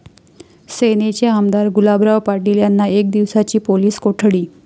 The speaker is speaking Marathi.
सेनेचे आमदार गुलाबराव पाटील यांना एक दिवसाची पोलीस कोठडी